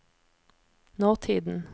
nåtiden